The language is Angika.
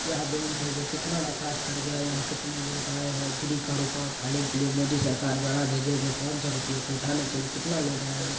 यह बैंक मे जो कितना विकास कर गया है यह कितने लोग आए है फ्री का रुपए उठाने के लिये मोदी सरकार द्वारा भेजे गए पाँच सौ रूपया को उठाने के लिये कितना लोग आए हुए --